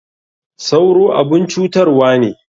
Sauro abun cutarwa ne.